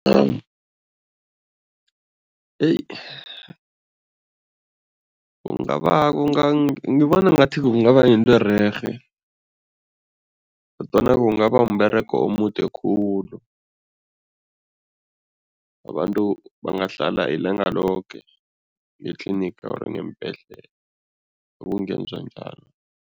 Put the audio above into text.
Kungaba ngibona ngathi kungaba yinto ererhe kodwana kungaba wumberego omude khulu, abantu bangahlala ilanga loke nge-clinic or ngeembhedlela ukungenzwa njalo.